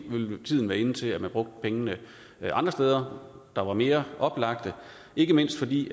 tiden inde til at man brugte pengene andre steder der var mere oplagte ikke mindst fordi